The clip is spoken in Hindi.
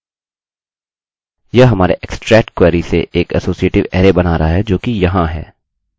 यह हमारे extract क्वेरी से एक असोसीटिवassociativeअरैarray बना रहा है जोकि यहाँ है